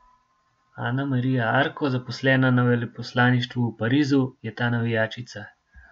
Ana Marija Arko, zaposlena na veleposlaništvu v Parizu, je ta navijačica.